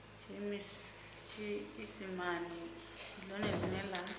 tshiisimane ndi ḽone ḽine ḽa